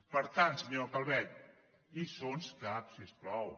per tant senyora calvet lliçons cap si us plau